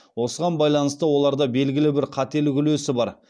осыған байланысты оларда белгілі бір қателік үлесі бар